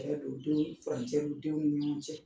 Tiɲɛ don denw farancɛ don denw ni ɲɔgɔn cɛ